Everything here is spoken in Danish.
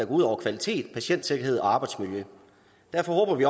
ud over kvalitet patientsikkerhed og arbejdsmiljøet derfor håber vi